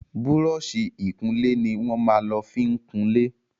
Búrọ̀ọ̀ṣì ìkunlé ní wón má lọ fín kunlẹ.